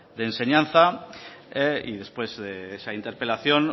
de enseñanza y después de esa interpelación